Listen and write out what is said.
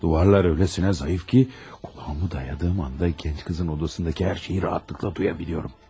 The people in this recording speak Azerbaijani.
Divarlar o qədər zəifdir ki, qulağımı söykədiyim anda gənc qızın otağındakı hər şeyi rahatlıqla eşidə bilirəm.